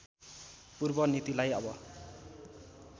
पूर्व नीतिलाई अब